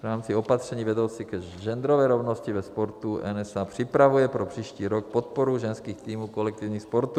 V rámci opatření vedoucí k genderové rovnosti ve sportu NSA připravuje pro příští rok podporu ženských týmů kolektivních sportů.